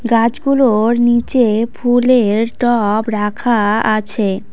গাছগুলো-ওর নীচে-এ ফুলে-এর টব রাখা-আ আছে।